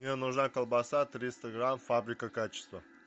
мне нужна колбаса триста грамм фабрика качества